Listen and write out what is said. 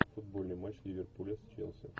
футбольный матч ливерпуля с челси